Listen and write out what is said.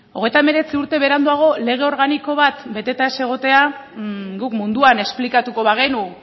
hogeita hemeretzi urte beranduago lege organiko bat beteta ez egotea guk munduan esplikatuko bagenu